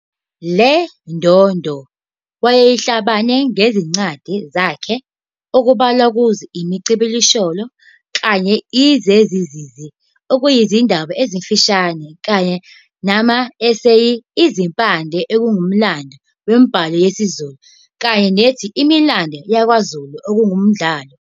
Lendondo wayeyehlabana ngezincwadi zakhe okubalwa kuzo- "Imicibisholo" kanye "Izezizenze" okuyizindaba ezimfishane kanye nama eseyi, "Izimpande" okungumlando wemibhalo yesiZulu, kanye nethi "Imilando YakwaZulu" okungumdlalo.